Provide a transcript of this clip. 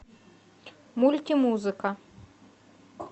мультимузыка